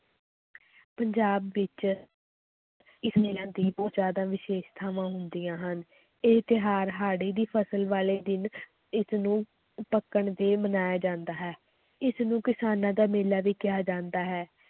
ਪੰਜਾਬ ਵਿੱਚ ਇਸ ਦੀ ਬਹੁਤ ਜ਼ਿਆਦਾ ਵਿਸ਼ੇਸ਼ਤਾਵਾਂ ਹੁੰਦੀਆਂ ਹਨ, ਇਹ ਤਿਉਹਾਰ ਹਾੜੀ ਦੀ ਫਸਲ ਵਾਲੇ ਦਿਨ ਇਸਨੂੰ ਪੱਕਣ ਤੇ ਮਨਾਇਆ ਜਾਂਦਾ ਹੈ, ਇਸਨੂੰ ਕਿਸਾਨਾਂ ਦਾ ਮੇਲਾ ਵੀ ਕਿਹਾ ਜਾਂਦਾ ਹੈ,